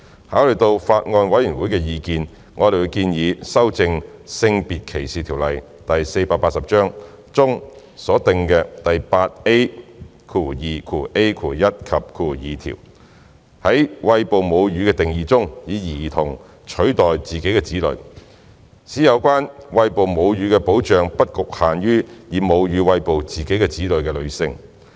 考慮到法案委員會的意見，我們建議修正《性別歧視條例》中所訂的第 8A2ai 及條，在"餵哺母乳"的定義中，以"兒童"取代"自己的子女"，使有關餵哺母乳的保障不局限於以母乳餵哺自己的子女的女性。